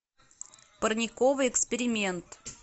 парниковый эксперимент